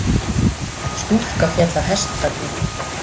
Stúlka féll af hestbaki